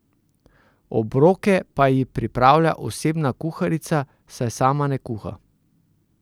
Obroke pa ji pripravlja osebna kuharica, saj sama ne kuha.